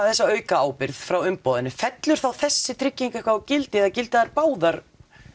þessa auka ábyrgð frá umboðinu fellur þá þessi trygging eitthvað úr gildi eða gilda þær báðar